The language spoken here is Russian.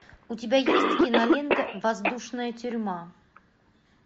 у тебя есть кинолента воздушная тюрьма